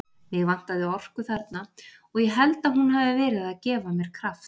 Mig vantaði orku þarna og ég held að hún hafi verið að gefa mér kraft.